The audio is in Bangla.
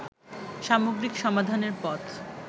সামগ্রিক সমাধানের পথ